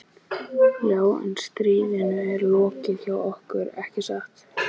Já, en stríðinu er lokið hjá okkur, ekki satt?